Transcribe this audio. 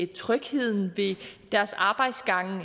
trygheden i deres arbejdsgange